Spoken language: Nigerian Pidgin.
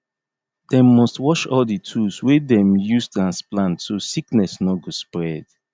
dem must wash all di tools wey dem use transplant so sickness no go spread